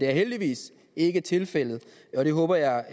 heldigvis ikke tilfældet og det håber jeg